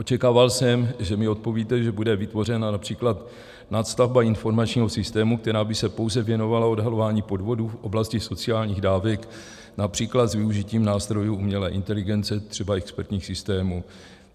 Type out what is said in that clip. Očekával jsem, že mi odpovíte, že bude vytvořena například nadstavba informačního systému, která by se pouze věnovala odhalování podvodů v oblasti sociálních dávek například s využitím nástrojů umělé inteligence, třeba expertních systémů.